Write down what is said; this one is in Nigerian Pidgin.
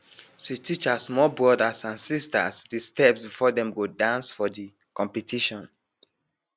she teach her small brothers and sisters de steps before dem go dance for de competition